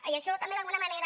i això també d’alguna manera